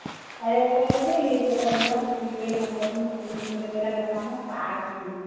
ଇଏ ଟୋକା କଣ କଲା ଏଇ ଟୋକା କଣ କଲା ସେତିକି ବେଳେ ସେତିକି ବେଳେ ମତେ ମିଛରେ କହିଲା ମାମା ମୁଁ ପାସ ଯିବି